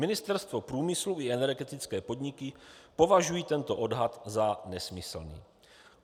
Ministerstvo průmyslu i energetické podniky považují tento odhad za nesmyslný.